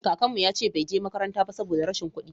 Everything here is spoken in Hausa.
kakanmu ya ce bai je makaranta ba saboda rashin kuɗi